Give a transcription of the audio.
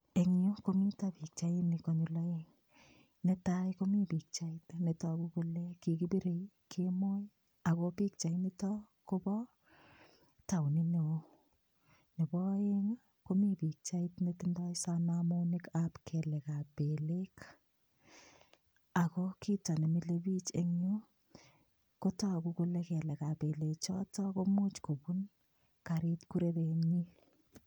Eng yuto yu komita pichainik konyil aeng. Netai komi pichait netagu kole kikipirei kemoi ago pichainito kobo taunit neo. Nepo aeng, komi pichait netindoi sanamonikab kelekab belek ago kito ne milebich eng yu kotagu kole kelegab belechoto komuch kupun karit kurerenyi.